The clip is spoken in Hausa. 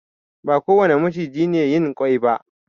Ba kowane maciji ne yin ƙwai ba.